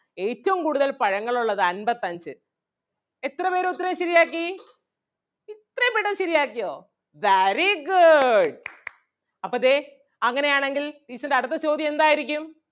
ഏറ്റവും കൂടുതൽ പഴങ്ങൾ ഉള്ളത് അൻപത്തഞ്ച് എത്ര പേര് ഉത്തരം ശരിയാക്കി ഇത്രേം പെട്ടന്ന് ശരിയാക്കിയോ very good അപ്പം ദേ അങ്ങനെ ആണെങ്കിൽ teacher ൻ്റെ അടുത്ത ചോദ്യം എന്താരിക്കും?